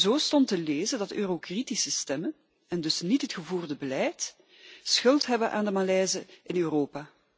Zo stond te lezen dat de eurokritische stemmen en dus niet het gevoerde beleid schuld hebben aan de malaise in Europa.